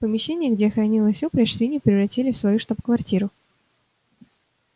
помещение где хранилась упряжь свиньи превратили в свою штаб-квартиру